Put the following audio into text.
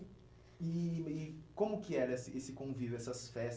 E e como que era esse esse convívio, essas festas?